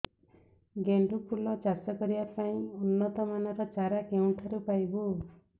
ଗେଣ୍ଡୁ ଫୁଲ ଚାଷ କରିବା ପାଇଁ ଉନ୍ନତ ମାନର ଚାରା କେଉଁଠାରୁ ପାଇବୁ